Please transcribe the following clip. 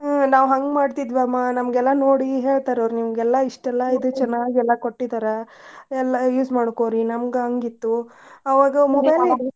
ಹ್ಮ್ ನಾವ್ ಹಂಗ್ ಮಾಡ್ತಿದ್ವಮ್ಮಾ ನಮ್ಗೆಲ್ಲಾ ನೋಡಿ ಹೇಳ್ತಾರವ್ರ್ ನಿಮ್ಗೆಲ್ಲಾ ಇಷ್ಟೆಲ್ಲಾ ಎಲ್ಲಾ ಕೊಟ್ಟಿದಾರ ಎಲ್ಲಾ use ಮಾಡ್ಕೊರಿ ನಮ್ಗ್ ಹಂಗ್ ಇತ್ತು ಅವಾಗ .